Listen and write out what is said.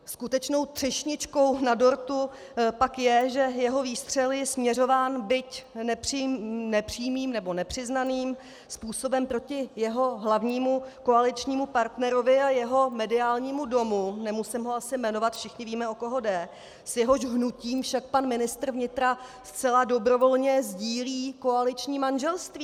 Skutečnou třešničkou na dortu pak je, že jeho výstřel je směřován buď nepřímým, nebo nepřiznaným způsobem proti jeho hlavnímu koaličnímu partnerovi a jeho mediálnímu domu, nemusím ho asi jmenovat, všichni víme, o koho jde, s jehož hnutím však pan ministr vnitra zcela dobrovolně sdílí koaliční manželství.